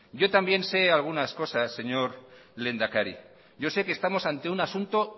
yo también sé algunas cosas señor lehendakari yo sé que estamos ante un asunto